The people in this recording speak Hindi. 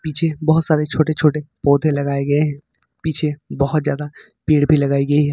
पीछे बहुत सारे छोटे छोटे पौधे लगाए गए हैं पीछे बहुत ज्यादा पेड़ भी लगाई गई है।